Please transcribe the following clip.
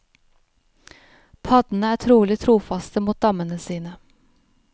Paddene er utrolig trofaste mot dammene sine.